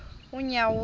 unyawuza